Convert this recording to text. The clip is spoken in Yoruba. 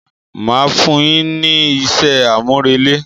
Màá fún un yín ní isé àmúrelé.